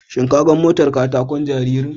Shin ka ga motar kataƙon jaririn?